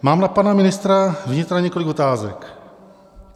Mám na pana ministra vnitra několik otázek.